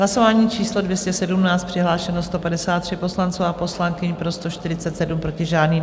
Hlasování číslo 217, přihlášeno 153 poslanců a poslankyň, pro 147, proti žádný.